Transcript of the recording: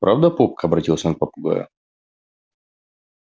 правда попка обратился он к попугаю